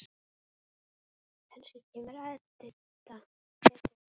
Kannski kemur Edita.